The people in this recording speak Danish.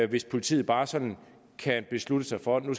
hvis politiet bare sådan kan beslutte sig for at den